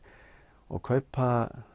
og kaupa